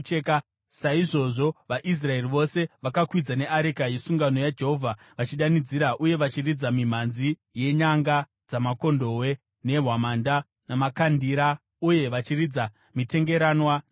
Saizvozvo vaIsraeri vose vakakwidza neareka yesungano yaJehovha vachidanidzira, uye vachiridza mimhanzi yenyanga dzamakondobwe nehwamanda namakandira, uye vachiridza mitengeranwa nembira.